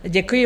Děkuji.